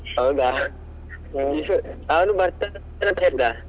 ಹೌದಾ, ಅವ್ನು ಬರ್ತಾ ಅಂತ ನನ್ಹತ್ರ ಹೇಳ್ದ.